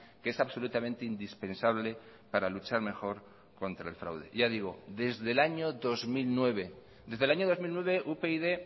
que es absolutamente indispensable para luchar mejor contra el fraude ya digo desde el año dos mil nueve desde el año dos mil nueve upyd